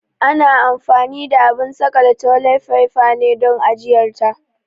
Ana anfani da abun saƙale toli faifa ne don ajiyar ta.